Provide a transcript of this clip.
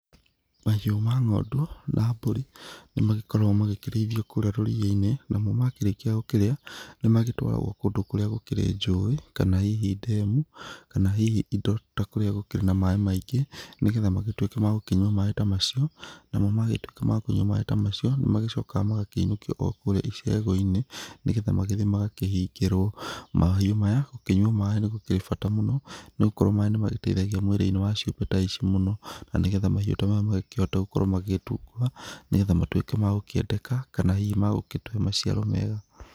Mahiũ ma ng'ondu na mbũri, nĩmagĩkoragwo magĩkĩrĩithio kũrĩa rũriĩ-inĩ. Namo makĩrĩkia gũkĩrĩa, nĩmagĩtwaragwo kũndũ kũrĩa gũkĩrĩ njũĩ, kana hihi ndemu, kana hihi indo, ta kũrĩa gũkĩrĩ na maĩ maingĩ, nĩgetha magĩtuĩke ma gũkĩnyua maĩ ta macio. Namo magĩtuĩka ma kũnyua maĩ ta macio, nĩmagĩcokaga magagĩinũkio o kũrĩa icegũ-inĩ, nĩgetha magĩthiĩ magakĩhingĩrwo. Mahiũ maya, gũkĩnyua maĩ nĩ gũkĩrĩ bata mũno, nĩgũkorwo maĩ nĩmagĩteithagia mwĩrĩ-inĩ wa ciũmbe ta ici mũno. Na nĩgetha mahiũ ta maya makĩhote gũkorwo magĩgĩtunguha, nĩgetha matuĩke ma gũkĩendeka, kana hihi magũgĩtũhe maciaro mega.